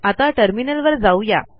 आता टर्मिनलवर जाऊ या